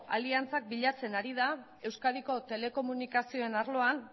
aliantzak bilatzen ari da euskadiko telekomunikazioen arloan